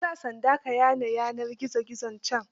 Ka sa sanda ka yane yanar gizo gizon can.